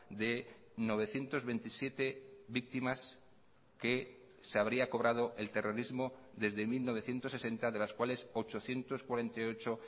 de novecientos veintisiete víctimas que se habría cobrado el terrorismo desde mil novecientos sesenta de las cuales ochocientos cuarenta y ocho